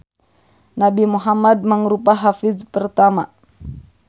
Nabi Muhammad mangrupa hafiz pertama.